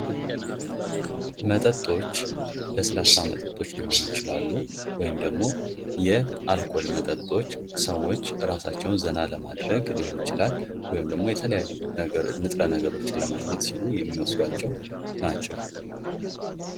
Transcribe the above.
መጠጦች ለስላሳ መጠጦች ሊሆኑ ይችላሉ ደግሞ ያልኮል መጠጦች ሰዎች እራሳቸውን ዘና ለማድረግ ሊሆን ይችላል ወይም ደግሞ የተለያዩ ንጥረ ነገሮችን ለማግኘት ሲሉ የሚወስዷቸው ናቸው::